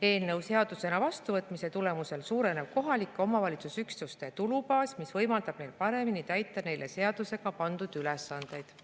Eelnõu seadusena vastuvõtmise tulemusel suureneb kohaliku omavalitsuse üksuste tulubaas, mis võimaldab neil paremini täita neile seadusega pandud ülesandeid.